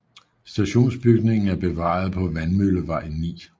Stationsbygningen er bevaret på Vandmøllevej 9